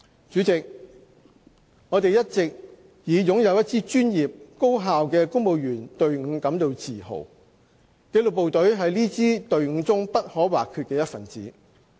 主席，我們一直以擁有一支專業、高效的公務員隊伍感到自豪。紀律部隊是這支隊伍中不可或缺的一分子。